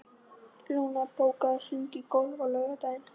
Luna, bókaðu hring í golf á laugardaginn.